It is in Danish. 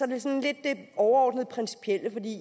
det sådan lidt det overordnede principielle